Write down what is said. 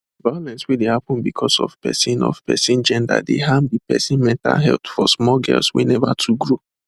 violence wey dey happen because of person of person gender dey harm de person mental health for small girls wey never too grow